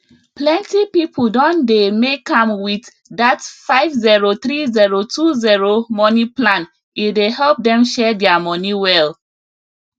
plenty people don dey make am with that 503020 money plan e dey help dem share their money well